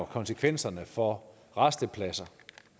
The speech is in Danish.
konsekvenserne for rastepladserne